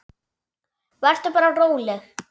Vertu bara róleg.